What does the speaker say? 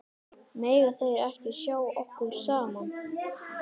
Mega þeir ekki sjá okkur saman?